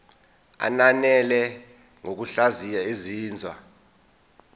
ananele ngokuhlaziya izinzwa